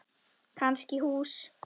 Kannski hús.